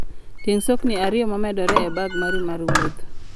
Ting' sokni ariyo momedore e bag mari mar wuoth.